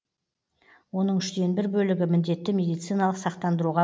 оның үштен бір бөлігі міндетті медициналық сақтандыруға